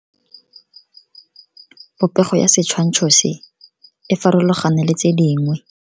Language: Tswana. Popego ya setshwantsho se, e farologane le tse dingwe.